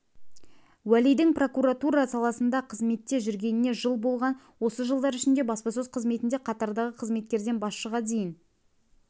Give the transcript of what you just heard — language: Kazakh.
уәлидің прокуратура саласында қызметте жүргеніне жыл болған осы жылдар ішінде баспасөз қызметінде қатардағы қызметкерден басшыға дейін